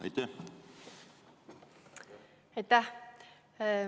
Aitäh!